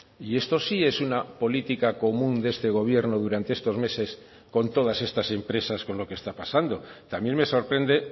y esto sí es una política común de este gobierno durante estos meses con todas estas empresas con lo que está pasando también me sorprende